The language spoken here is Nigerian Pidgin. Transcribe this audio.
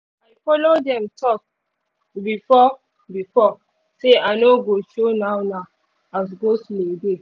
i follow dem talk befiore before say i no go show now now as go-slow dey